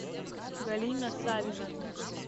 галина савина